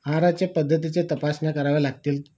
आहारच्या पद्धतीच्या तपासण्या कराव्या लागतील?